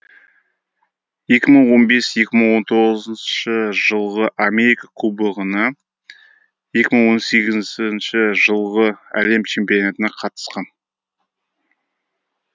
екі мың он бес екі мың он тоғызыншы жылғы америка кубогына екі мың он сегізінші жылғы әлем чемпионатына қатысқан